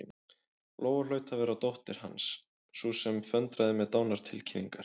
Lóa hlaut að vera dóttir Hans, sú sem föndraði með dánartilkynningar.